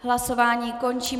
Hlasování končím.